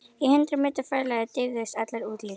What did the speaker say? Í hundrað metra fjarlægð deyfðust allar útlínur.